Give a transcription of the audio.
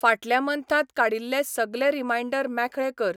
फाटल्या मन्थांत काडिल्ले सगले रिमांयडर मेखळे कर.